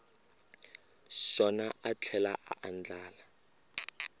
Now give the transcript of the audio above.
xona a tlhela a andlala